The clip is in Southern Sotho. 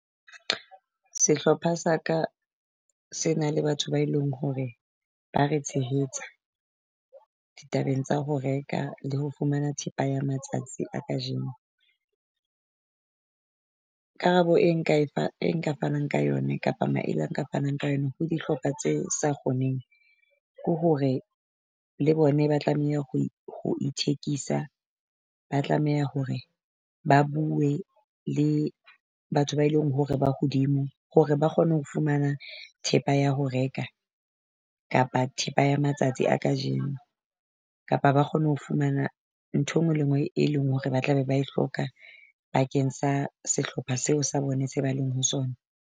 Sehlopha sa ka se na le batho ba eleng hore ba re tshehetsa ditabeng tsa ho reka le ho fumana thepa ya matsatsi a kajeno. Karabo e nka e fa e nka fanang ka yone kapa maele a fanang ka yone ho dihlopha tse sa kgoneng, ko hore le bona ba tlameha ho ho ithekisa. Ba tlameha hore ba bue le batho ba e leng hore ba hodimo hore ba kgone ho fumana thepa ya ho reka, kapa thepa ya matsatsi a kajeno. Kapa ba kgone ho fumana nthwe nngwe le e nngwe, e leng hore ba tla be ba hloka bakeng sa sehlopha seo sa bone se ba leng ho sona.